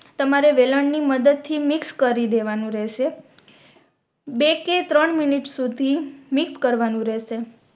તમારે વેલણ ની મદદ થી mix કરી દેવાનું રેહશે બે કે ત્રણ મિનિટ સુધી મિક્સ કરવાનું રેહશે